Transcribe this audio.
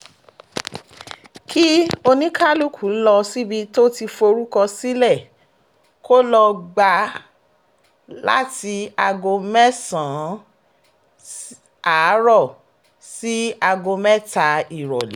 kí oníkálùkù lọ síbi tó ti forúkọ sílẹ̀ kó lọ́ọ gbà á láti aago mẹ́sàn-án àárọ̀ sí aago mẹ́ta ìrọ̀lẹ́